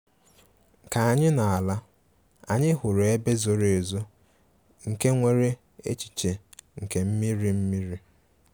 Ka anyị na-ala, anyị hụrụ ebe zoro ezo nke nwere echiche nke mmiri mmiri